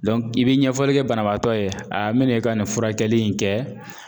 i bɛ ɲɛfɔli kɛ banabaatɔ ye a n bɛna i ka nin furakɛli in kɛ